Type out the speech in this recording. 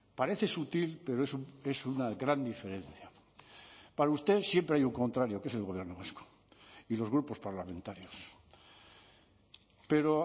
parece sutil pero es una gran diferencia para usted siempre hay un contrario que es el gobierno vasco y los grupos parlamentarios pero